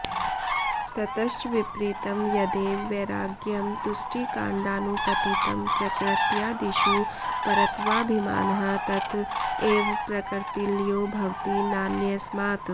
ततश्च विपरीतं यदेव वैराग्यं तुष्टिकाण्डानुपतितं प्रकृत्यादिषु परत्वाभिमानः तत एव प्रकृतिलयो भवति नान्यस्मात्